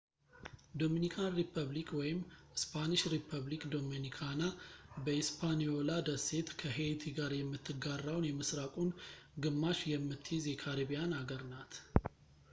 ዶሚኒካን ሪፐብሊክ እስፓኒሽ:- ሪፐብሊካ ዶሚኒካና በሂስፓኒዮላ ደሴት ከሄይቲ ጋር የምትጋራውን የምሥራቁን ግማሽ የምትይዝ የካሪቢያን አገር ናት